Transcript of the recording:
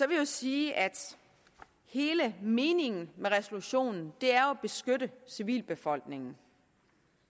vil jeg sige at hele meningen med resolutionen er at beskytte civilbefolkningen